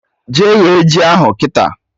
Jee ghe ji ahụ kịta!